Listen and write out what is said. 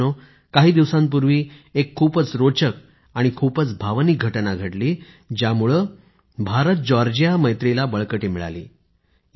मित्रांनो काही दिवसांपूर्वी एक खूपच रोचक आणि खूपच भावनिक घटना घडली ज्यामुळे भारत जॉर्जिया मैत्रीला बळकटी मिळाली